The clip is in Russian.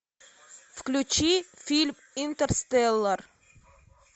включи фильм интерстеллар